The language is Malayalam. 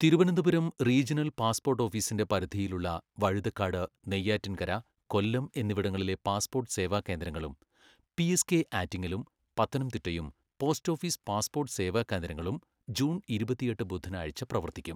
തിരുവനന്തപുരം റീജണൽ പാസ്പോർട്ട് ഓഫീസിന്റെ പരിധിയിലുള്ള വഴുതക്കാട്, നെയ്യാറ്റിൻകര, കൊല്ലം എന്നിവിടങ്ങളിലെ പാസ്പോർട്ട് സേവാകേന്ദ്രങ്ങളും പിഎസ്കെ ആറ്റിങ്ങലും പത്തനംത്തിട്ടയും പോസ്റ്റ് ഓഫീസ് പാസ്പോർട്ട് സേവാകേന്ദ്രങ്ങളും ജൂൺ ഇരുപത്തിയെട്ട് ബുധനാഴ്ച്ച പ്രവർത്തിക്കും.